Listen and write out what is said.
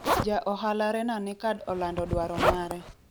ja ohala Rena Nekkad olando dwaro mare